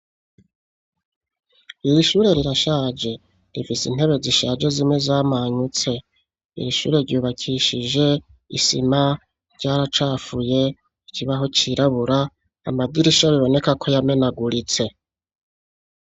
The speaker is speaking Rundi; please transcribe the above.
Iri shure rirashaje rifise intebe zishaje zimwe zamanyutse irishure ryubakishije isima ryaracafuye ikibaho cyirabura amadirisho biboneka ko yamenaguritse.